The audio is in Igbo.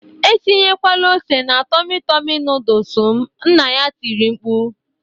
Etinyekwala ose na Tọmị Tọmị noodles m"nna ya tiri mkpu